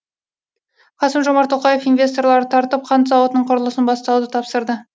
қасым жомарт тоқаев инвесторларды тартып қант зауытының құрылысын бастауды тапсырды